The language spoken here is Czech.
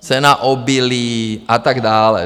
Cena obilí a tak dále.